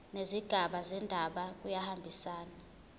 nezigaba zendaba kuyahambisana